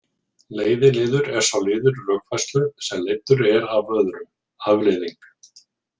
Leiðiliður er sá liður rökfærslu sem leiddur er af öðrum, afleiðing.